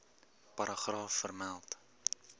paragraaf vermeld